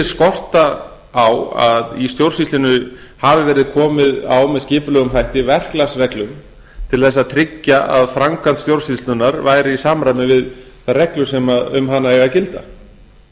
skorta á að í stjórnsýslunni hafi verið komið á með skipulegum hætti verklagsreglum til að tryggja að framkvæmd stjórnsýslunnar væri í samræmi við þær reglur sem um hana eiga að gilda